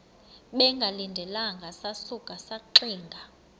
bengalindelanga sasuka saxinga